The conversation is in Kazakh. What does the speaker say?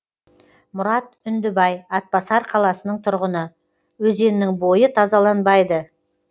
мұрат үндібай атбасар қаласының тұрғыны өзеннің бойы тазаланбайды